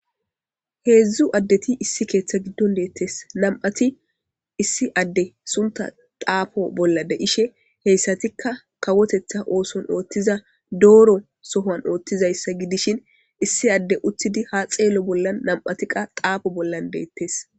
Heedzdzu addeti issi keeththa giddon deettes nam'ati issi adde sunta qaafo bolla de ishe heyssatikka kawotetha ooson ooththiza dooro sohan ooththizayssa gidishin issi adde uthidi ha xeello bollan nam'atiqa qaafo bollan beettes.